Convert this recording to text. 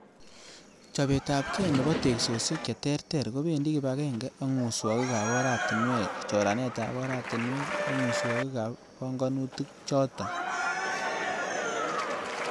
Chobetabge nebo teksosiek cheterter, kobendi kibagenge ak muswogik ab oratinwek, choranetab oratinwek ak muswogiik ab pang'anutiikchoton.